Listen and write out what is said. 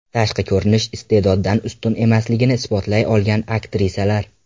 Tashqi ko‘rinish iste’doddan ustun emasligini isbotlay olgan aktrisalar .